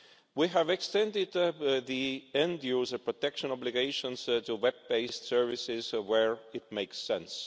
We have extended the end user protection obligations to web based services where that makes sense.